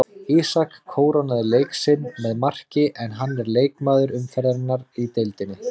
Ísak kórónaði leik sinn með marki en hann er leikmaður umferðarinnar í deildinni.